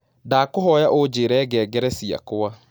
Ndakũhoya unjĩre ngengere cĩakwa